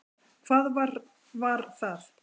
Hvað var var það?